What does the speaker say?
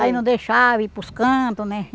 Aí não deixava ir para os cantos, né?